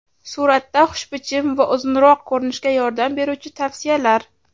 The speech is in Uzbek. Suratda xushbichim va uzunroq ko‘rinishga yordam beruvchi tavsiyalar.